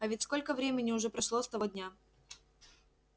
а ведь сколько времени уже прошло с того дня